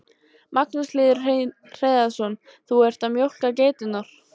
Magnús Hlynur Hreiðarsson: Þú ert að mjólka geiturnar?